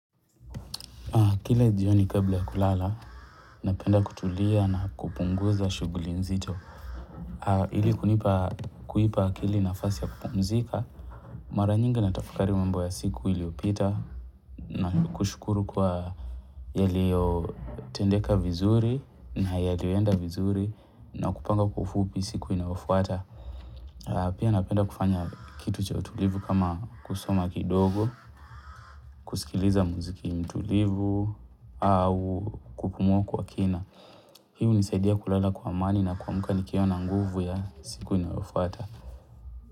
Kila jioni kabla kulala, napenda kutulia na kupunguza shughuli nzito. Ili kunipa, kuipa akili nafasi ya kupumzika, mara nyingi na tafakari mambo ya siku iliyopita na kushukuru kwa yaliyotendeka vizuri na yalioenda vizuri na kupanga kwa ufupi siku inayofuata. Pia napenda kufanya kitu cha utulivu kama kusoma kidogo, kusikiliza muziki mtulivu au kupumua kwa kina. Hii hunisaidia kulala kwa amani na kuamka nikiwa na nguvu ya siku inayofuata.